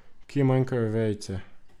Kje manjkajo vejice?